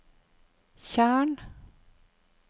tjern